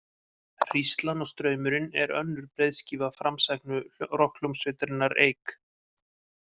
Hríslan og straumurinn er önnur breiðskífa framsæknu rokkhljómsveitarinnar Eik.